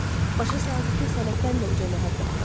Başa saldı ki, sənətdən də uca məhəbbət var.